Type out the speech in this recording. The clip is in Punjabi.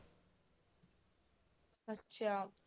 ਅੱਛਾ।